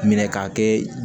Minɛ k'a kɛ